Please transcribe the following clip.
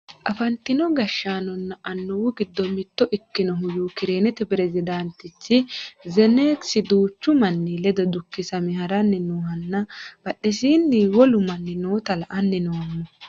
afantino gashshaanonna annuwu giddo mitto ikkinohu yukireenete peresidaantichi zeleniski duuchu manni ledo dukisame haranni noohanna badhesiini wolu manni noota la"anni noommo